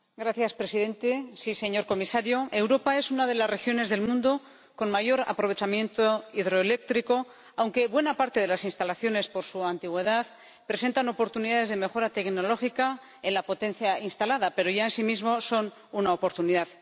Señor Presidente, señor Comisario, Europa es una de las regiones del mundo con mayor aprovechamiento hidroeléctrico, aunque buena parte de las instalaciones, por su antigüedad, presentan oportunidades de mejora tecnológica en la potencia instalada, pero ya en sí mismas son una oportunidad.